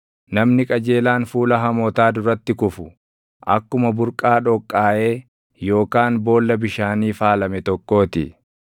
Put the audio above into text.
Namni qajeelaan fuula hamootaa duratti kufu, akkuma burqaa dhoqqaaʼee yookaan boolla bishaanii faalame tokkoo ti.